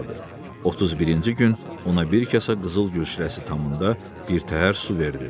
31-ci gün ona bir kasa qızıl gül şirəsi tamında birtəhər su verdi.